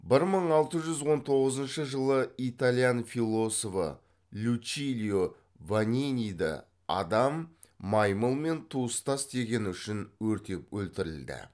бір мың алты жүз он тоғызыншы жылы италиян философы лючилио ваниниді адам маймылмен туыстас дегені үшін өртеп өлтірілді